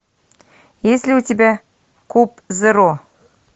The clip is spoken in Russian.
есть ли у тебя куб зеро